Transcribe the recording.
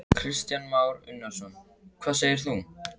Kristján Már Unnarsson: Hvað segir þú?